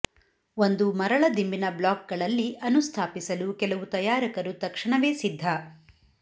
ಒಂದು ಮರಳ ದಿಂಬಿನ ಬ್ಲಾಕ್ಗಳಲ್ಲಿ ಅನುಸ್ಥಾಪಿಸಲು ಕೆಲವು ತಯಾರಕರು ತಕ್ಷಣವೇ ಸಿದ್ಧ